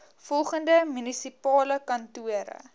volgende munisipale kantore